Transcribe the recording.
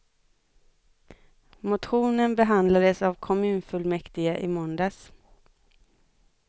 Motionen behandlades av kommunfullmäktige i måndags.